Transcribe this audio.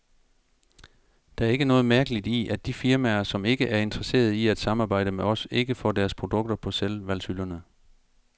Der er ikke noget mærkeligt i, at de firmaer, som ikke er interesserede i at samarbejde med os, ikke får deres produkter på selvvalgshylderne.